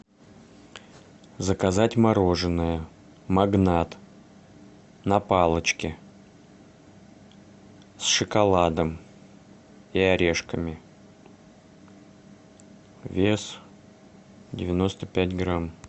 заказать мороженое магнат на палочке с шоколадом и орешками вес девяносто пять грамм